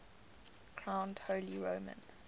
crowned holy roman